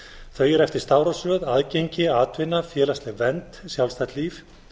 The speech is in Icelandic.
þau eru eftir stafrófsröð aðgengi atvinna félagsleg vernd sjálfstætt líf